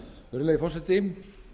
virðulegi forseti